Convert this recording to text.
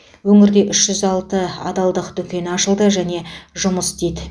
өңірде үш жүз алты адалдық дүкені ашылды және жұмыс істейді